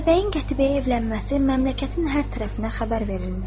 Atabəyin Qətibəyə evlənməsi məmləkətin hər tərəfinə xəbər verilmişdi.